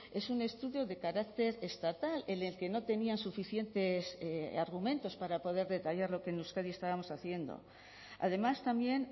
es un estudio de carácter estatal en el que no tenían suficientes argumentos para poder detallar lo que en euskadi estábamos haciendo además también